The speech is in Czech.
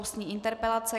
Ústní interpelace